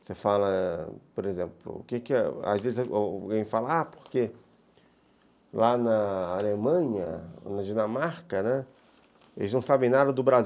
Você fala, por exemplo, às vezes alguém fala, ah, porque lá na Alemanha, na Dinamarca, né, eles não sabem nada do Bra